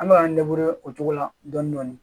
An bɛ k'an o cogo la dɔɔnin dɔɔnin